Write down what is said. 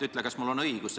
Ütle, kas mul on õigus.